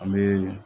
An bɛ